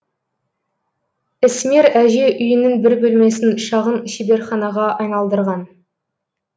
ісмер әже үйінің бір бөлмесін шағын шеберханаға айналдырған